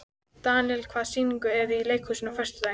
Daníela, hvaða sýningar eru í leikhúsinu á föstudaginn?